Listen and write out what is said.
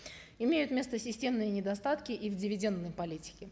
имеют место системные недостатки и в дивидендной политике